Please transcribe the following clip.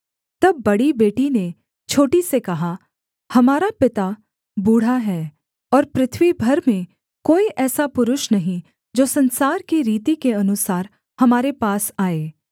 तब बड़ी बेटी ने छोटी से कहा हमारा पिता बूढ़ा है और पृथ्वी भर में कोई ऐसा पुरुष नहीं जो संसार की रीति के अनुसार हमारे पास आए